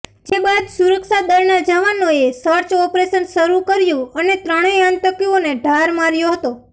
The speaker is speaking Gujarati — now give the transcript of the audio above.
જે બાદ સુરક્ષાદળના જવાનોએ સર્ચ ઓપરેશન શરૂ કર્યુ અને ત્રણેય આતંકીઓને ઠાર માર્યા હતા